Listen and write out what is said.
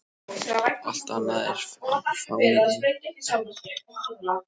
Allt annað var fánýti og hégómi.